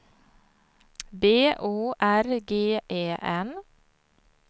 B O R G E N